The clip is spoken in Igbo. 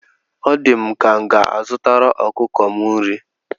O di m ka m ga-azutara ọkụkọ m nri.